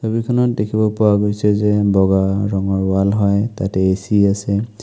ছবিখনত দেখিব পোৱা গৈছে যে বগা ৰঙৰ ৱাল হয় তাতে এ.চি. আছে।